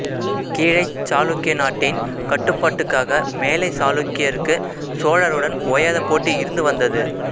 கீழைச் சாளுக்கிய நாட்டின் கட்டுப்பாட்டுக்காக மேலைச் சாளுக்கியருக்குச் சோழருடன் ஓயாத போட்டி இருந்துவந்தது